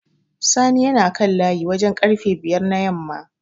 Sani yana kan layi wajen ƙarfe bayar na yamma.